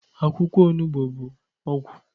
Akwụkwọ onugbu bụ ọgwụ